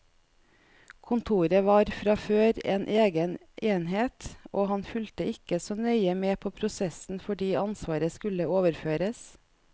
Kontoret var fra før en egen enhet, og han fulgte ikke så nøye med på prosessen fordi ansvaret skulle overføres.